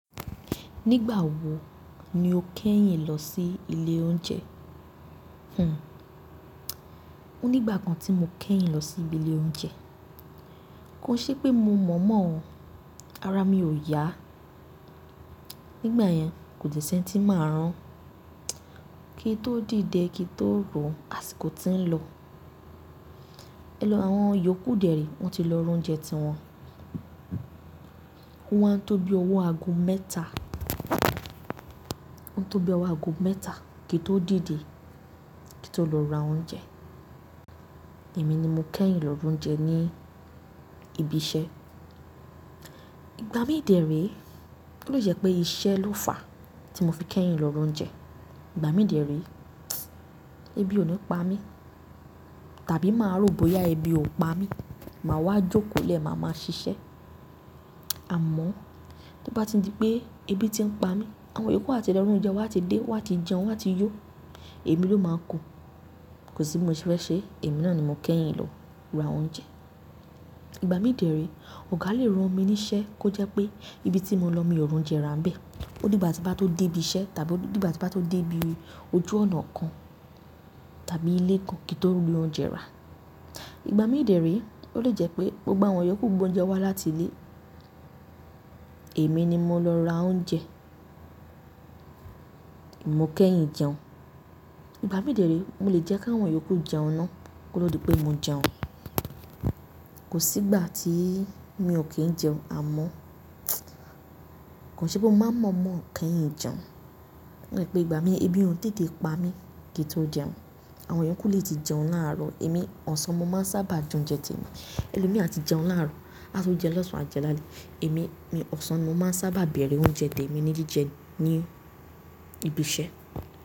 Nígbà wo ni o kẹ́yìn lọ sí ilé oúnjẹ? Hmmm Ó nígbà kan tí mo kẹ́yìn lọ sí ibi ilé oúnjẹ. Kò ṣe pé mo mọ̀ mọ̀ ọ́n, ara mi ò yá. Nígbà yẹn, kò dẹ́ sẹ́ni tí màá rán. Kí n tó dìde, kí n tó ro, àsìkò ti ń lọ. Ẹ̀lọ́, àwọn iyòókù dẹ̀ ré, wọ́n ti lọ ra oúnjẹ tí wọn. O wá ń tó bí ọwọ́ ago mẹ́ta. O ń tó bí ọwọ́ ago mẹ́ta kí n tó dìde, kí n tó lọ ra oúnjẹ. Èmi ni mo kẹ́yìn lọ ra oúnjẹ ní ibi iṣẹ́. Ìgbà mí dèére, ó lè jẹ́ pé iṣẹ́ ló fàá tí mo fi kẹ́yìn lọ ra oúnjẹ. Ìgbà mí dẹ̀ ré ebi ò ní pa mí, tàbí màá rò bóyá ebi ó pa mí, màá wá jókòó lẹ́ màá máa ṣiṣẹ́. Àmọ́, tó bá ti ń di pé ebi ti ń pa mí, àwọn iyòókù àti lọ ra oúnjẹ, wọn a ti dé, wọn a ti jẹun, wọn a ti yó. Èmi ló máa kú. Kò sí bi mo ṣe fẹ́ ṣe. Èmi náà ni mo kẹ́yìn lọ ra oúnjẹ. Ìgbà mí dẹ̀ ré, ọ̀gá le rán mi níṣẹ́ kó jẹ́ pé ibi tí mo lọ, mi o ri oúnjẹ ra ni bẹ́ẹ̀. Ódigba ti ń bá tó dé ibi iṣẹ́, tàbí ódigba ti ń bá tó dé ibi ojú ọ̀nà kan, tàbí ilé kan kí n tó ri oúnjẹ ra. Ìgbà mí dẹ̀ ré, ó lè jẹ́ pé gbogbo àwọn iyòókù gbé oúnjẹ wá láti ilé. Èmi ni mo lọ ra oúnjẹ. Mo kẹ́yìn jẹun. Ìgbà mí dẹ̀ ré, mo lè jẹ́ kí àwọn iyòókù jẹun ná. Kó to dí pé mo jẹun. Kò sí ìgbà tí mi ò kí ń jẹun. Àmọ́, kò ṣe pé mo máa ń mọ̀ mọ̀ kẹ́yìn jẹun. O kan jẹ́ pé ìgbà mí, ebi ò ń tètè ń pa mí kí n tó jẹun. Àwọn iyòókù lè ti jẹun láàárọ̀, èmi ọ̀sán mo máa ń sábà jẹ oúnjẹ tèmi. Ẹ̀lomiran à ti jẹun láàárọ̀, á tún jẹ lọ́sàn á jẹ lálẹ́. Èmi mi, ọ̀sán mo máa ń sábà bẹ̀rẹ̀ oúnjẹ tèmi ní jíjẹ ní ibi iṣẹ́.